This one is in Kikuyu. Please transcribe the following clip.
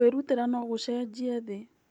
Kwĩrutĩra no gũcenjie thĩ.